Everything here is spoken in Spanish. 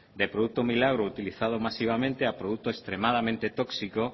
de producto muy largo utilizado masivamente a producto extremadamente tóxico